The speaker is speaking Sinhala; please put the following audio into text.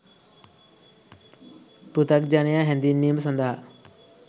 පෘථග්ජනයා හැඳින්වීම සඳහා